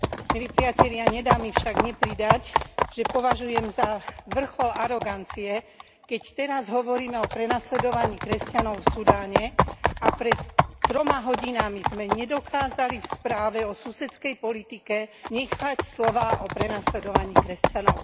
Milí priatelia, nedá mi však nepridať, že považujem za vrchol arogancie, keď teraz hovoríme o prenasledovaní kresťanov v Sudáne a pred troma hodinami sme nedokázali v správe o susedskej politike nechať slová o prenasledovaní kresťanov.